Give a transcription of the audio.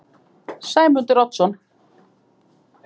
Sæmundur Oddsson